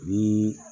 Ni